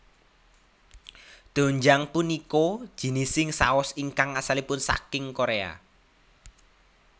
Doenjang punika jinising saos ingkang asalipun saking Korea